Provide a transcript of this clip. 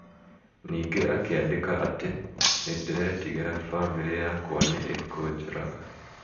ningĩ akĩandika atĩ 'Nĩndĩretigira famĩrĩ yakwa ni ĩkũnjũraga.'